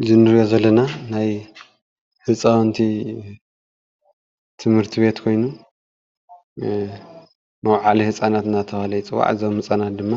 እዚ እንራኦ ዘለና ናይ ህፃውንቲ ትምህርት ቤት ኾይኑ መውዓሊ ህፃናት እናተብሃለ ይፅዋዕ። እዞም ህፃናት ድማ